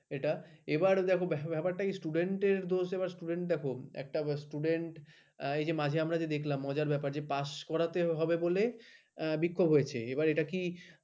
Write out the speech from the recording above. এটা এবার দেখো ব্যাপারটা student র দোষ student দেখো একটা student । এই যে মাঝে আমরা দেখলাম মজার ব্যাপার pass করাতে হবে বলে বিক্ষোভ হয়েছে এবার এটা কি